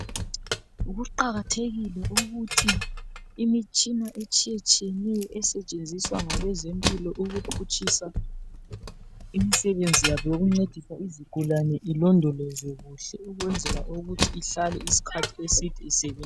Kuqakathekile ukuthi imitshina etshiyetshiyeneyo esetshenziswa ngabezempilo ukuphutshisa imisebenzi yabo yokuncedisa izigulane ilondolozwe kuhle ukwenzela ukuthi ihlale isikhathi eside isebenza.